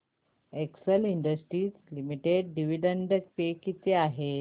Excel Industries Limited dividend pay किती आहे